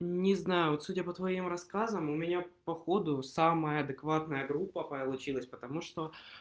не знаю вот судя по твоим рассказам у меня походу самая адекватная группа получилась потому что